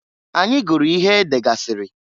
Anyị guru ihe degasịrị.